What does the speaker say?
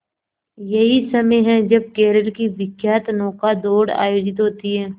यही समय है जब केरल की विख्यात नौका दौड़ आयोजित होती है